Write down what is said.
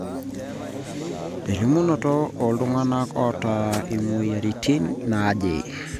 elimunoto ooltung'anak oota imweyiaritin naaje